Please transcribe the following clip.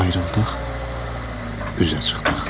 Ayrıldıq, üzə çıxdıq.